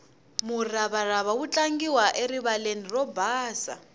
muravarava wu tlangiwa erivaleni ro basa